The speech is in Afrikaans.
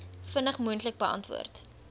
vinnig moontlik beantwoord